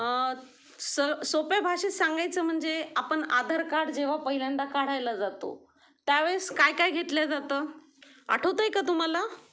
अ स सोप्या भाषेत सांगायचं म्हणजे आपण आधार कार्ड जेव्हा पहिल्यांदा काढायला जातो त्या वेळेस काय काय घेतल्या जातं आठवतंय का तुम्हाला?